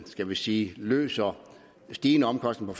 skal vi sige løser stigende omkostninger